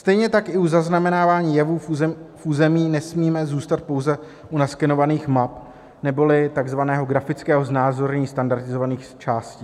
Stejně tak i u zaznamenávání jevů v území nesmíme zůstat pouze u naskenovaných map neboli takzvaného grafického znázornění standardizovaných částí.